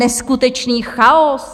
Neskutečný chaos!